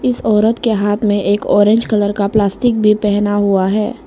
उस औरत के हाथ में एक ऑरेंज कलर का प्लास्टिक भी पहना हुआ है।